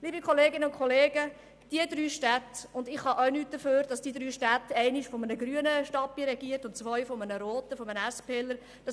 Es liegt nicht an mir, dass diese drei Städte von einem grünen und von zwei roten Stadtpräsidenten von der SP regiert werden.